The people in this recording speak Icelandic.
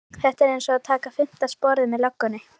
Þetta er einsog að taka fimmta sporið með löggunni